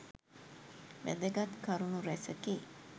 වැදගත් කරුණු රැසකි.